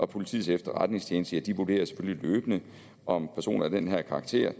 politiets efterretningstjeneste vurderer selvfølgelig løbende om personer af den her karakter